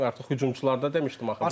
Artıq hücumçularda demişdim axı bunu.